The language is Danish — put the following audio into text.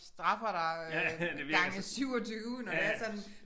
Straffer dig øh gange 27 når det er sådan